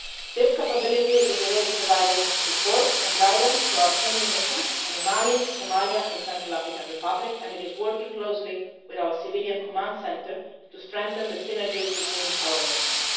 This capability is already providing support and guidance to our training missions in Mali, Somalia and the Central African Republic and is working closely with our civilian command centre to strengthen the synergies between our missions.